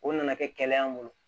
O nana kɛ kɛlɛ y'an bolo